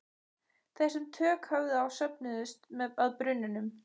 Þeir sem tök höfðu á söfnuðust að brunnunum.